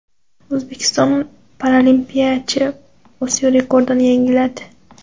O‘zbekistonlik paralimpiyachi Osiyo rekordini yangiladi.